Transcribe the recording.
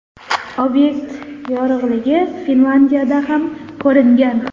Obyekt yorug‘ligi Finlyandiyada ham ko‘ringan.